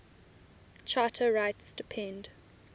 charter rights depend